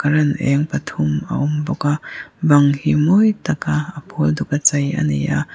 current eng pathum a awm bawk a bang hi mawi taka a pawl duka chei ani a.